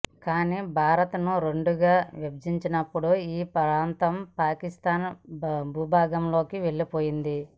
కానీ భారత్ను రెండుగా విభజించినపుడు ఈ ప్రాంతం పాకిస్థాన్ భూభాగంలోకి వెళ్లిపోయింది